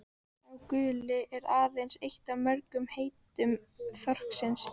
„sá guli“ er aðeins eitt af mörgum heitum þorsksins